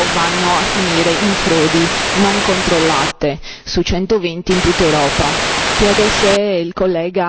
sessanta miliardi di euro vanno a finire in frodi non controllate, su centoventi in tutta Europa.